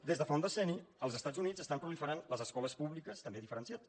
des de fa un decenni als estats units estan proliferant les escoles publiques també diferenciades